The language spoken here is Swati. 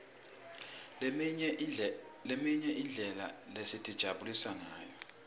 leminye imidlalo sitijabulisa ngayo